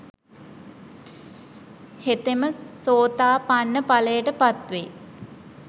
හෙතෙම සෝතාපන්න ඵලයට පත්වෙයි.